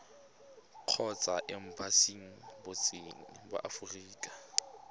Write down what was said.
kgotsa embasing botseteng ba aforika